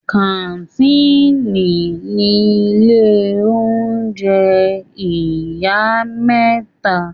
Kàńtìnì ni ilé oúnjẹ ìyá mẹ́ta.